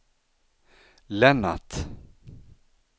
Lennart